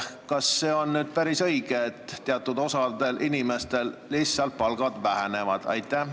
Kas see on päris õige, et teatud osal inimestel lihtsalt palk väheneb?